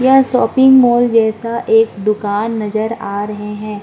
यह shopping mall जैसा एक दुकान नज़र आ रहे हैं।